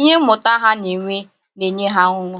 ihe mmụta ha na-enwe na-enye ha ọṅụ